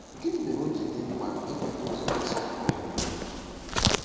Gịnị mere o ji dị mkpa ibute ụzọ n’ịsọpụrụ ụmụnna?